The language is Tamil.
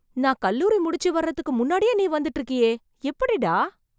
நா கல்லூரி முடிச்சி வர்றதுக்கு முன்னாடியே நீ வந்துட்டு இருக்கியே , எப்புடிடா